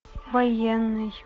военный